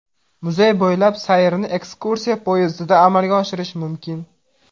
Muzey bo‘ylab sayrni ekskursiya poyezdida amalga oshirish mumkin.